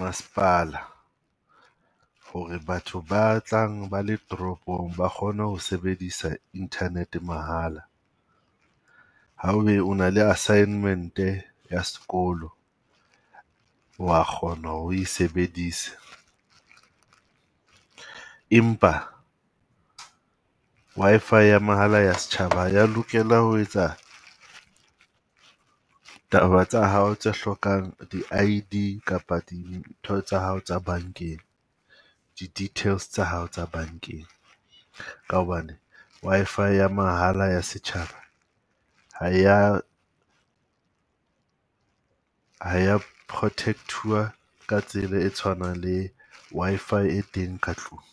masepala ho re batho ba tlang ba le toropong ba kgone ho sebedisa internet mahala. Ha ebe o na le assignment-e ya sekolo, o wa kgona ho re o e sebedise. Empa Wi-Fi ya mahala ya setjhaba ha ya lokela ho etsa taba tsa hao tse hlokang di I_D kapa di tsa hao tsa bankeng, di-details tsa hao tsa bankeng. Ka hobane Wi-Fi ya mahala ya setjhaba ha eya, ha eya protect-iwa ka tsela e tshwanang le Wi-Fi e teng ka tlung.